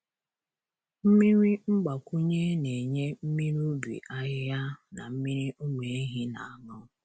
Mmiri mgbakwunye na-enye mmiri ubi ahịhịa na mmiri ụmụ ehi na-aṅụ.